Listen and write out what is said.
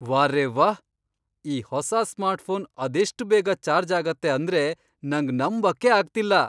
ವಾರೆವ್ಹಾ, ಈ ಹೊಸ ಸ್ಮಾರ್ಟ್ಫೋನ್ ಅದೆಷ್ಟ್ ಬೇಗ ಚಾರ್ಜ್ ಆಗತ್ತೆ ಅಂದ್ರೆ ನಂಗ್ ನಂಬಕ್ಕೇ ಆಗ್ತಿಲ್ಲ!